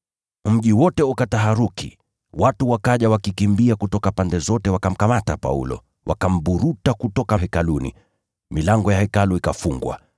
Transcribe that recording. Mji wote ukataharuki, watu wakaja wakikimbia kutoka pande zote wakamkamata Paulo, wakamburuta kutoka Hekaluni. Milango ya Hekalu ikafungwa.